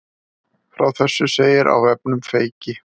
Frá þessu segir á vefnum Feyki